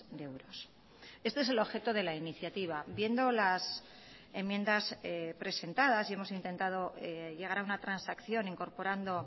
de euros este es el objeto de la iniciativa viendo las enmiendas presentadas y hemos intentado llegar a una transacción incorporando